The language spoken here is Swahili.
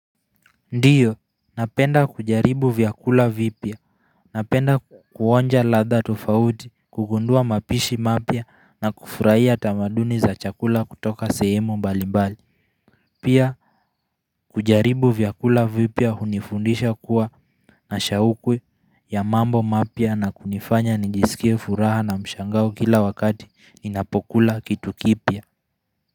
Ndio, napenda kujaribu vyakula vipya, napenda kuonja ladha tofauti, kugundua mapishi mapya na kufurahia tamaduni za chakula kutoka sehemu mbali mbali Pia, kujaribu vyakula vipya hunifundisha kuwa nashaukwe ya mambo mapya na kunifanya nijisikie furaha na mshangao kila wakati ninapokula kitu kipya.